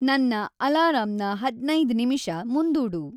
ನನ್ನ ಅಲಾರಾಂನ ಹದ್ನೈದ್ ನಿಮಿಷ ಮುಂದೂಡು